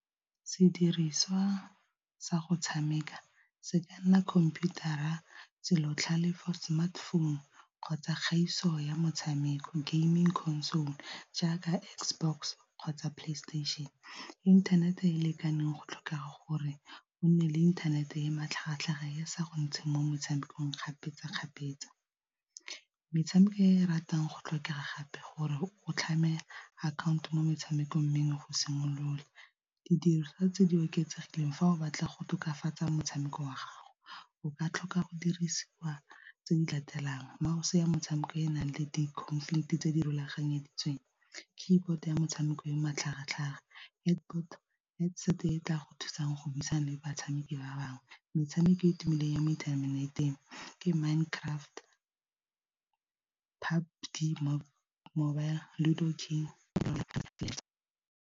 Sediriswa sa go tshameka se ka nna khomputara, selo botlhalefo, smartphone kgotsa kgaiso ya motshameko gaming console jaaka Xbox kgotsa PlayStation. Inthanete e e lekaneng go tlhoka gore go nne le inthanete e e matlhagatlhaga e sa go ntsheng mo metshamekong kgapetsa-kgapetsa. Metshameko e ratang go tlhokega gape gore o tlhame akhaonto mo metshamekong mengwe go simolola. Didiriswa tse di oketsegileng fa o batla go tokafatsa motshameko wa gago, o ka tlhoka go dirisiwa tse di latelang mouse ya motshameko e e nang le tse di rulaganyeditsweng, keyboard ya motshameko o matlhagatlhaga, headset e tla go thusang go buisana le batshameki ba bangwe, metshameko e e tumileng ya mo inthaneteng ke Minecraft .